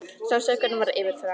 Sársaukinn var yfirþyrmandi.